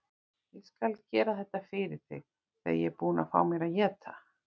Ég skal gera þetta fyrir þig þegar ég er búinn að fá mér að éta.